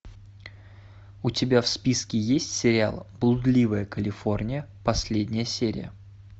у тебя в списке есть сериал блудливая калифорния последняя серия